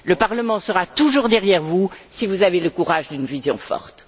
Le Parlement sera toujours derrière vous si vous avez le courage de donner une vision forte.